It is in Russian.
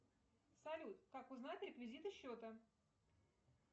салют как узнать реквизиты счета